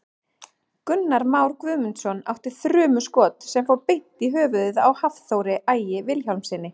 Gunnar Már Guðmundsson átti þrumuskot sem fór beint í höfuðið á Hafþóri Ægi Vilhjálmssyni.